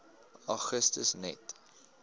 augustus net